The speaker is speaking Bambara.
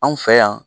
Anw fɛ yan